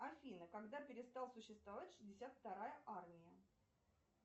афина когда перестал существовать шестьдесят вторая армия